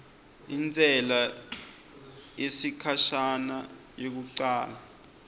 intsela yesikhashana yekucala